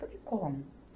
Falei, como?